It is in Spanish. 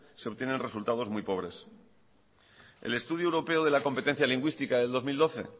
se obtienen resultados muy pobres el estudio europeo de la competencia lingüística del dos mil doce